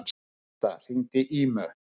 Martha, hringdu í Ímu.